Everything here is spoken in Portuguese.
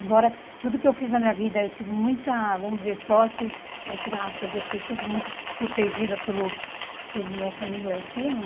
Embora tudo que eu fiz na minha vida, eu tive muita, vamos dizer, sorte, entre aspas, eu fui sempre muito protegida pelo pelo nosso amigo lá em cima.